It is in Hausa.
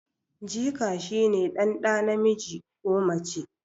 jika shi ne dan da namiji ko mace